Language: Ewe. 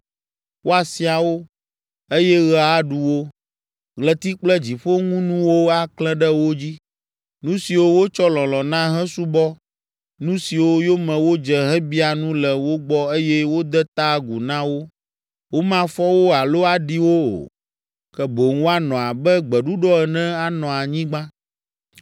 Woasia wo, eye ɣe aɖu wo, ɣleti kple dziƒoŋunuwo aklẽ ɖe wo dzi, nu siwo wotsɔ lɔlɔ̃ na hesubɔ nu siwo yome wodze hebia nu le wo gbɔ eye wode ta agu na wo. Womafɔ wo alo aɖi wo o, ke boŋ woanɔ abe gbeɖuɖɔ ene anɔ anyigba.